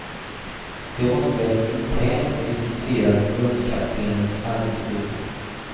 De måste väl internt ha diskuterat förbundskaptenens arbetsuppgifter.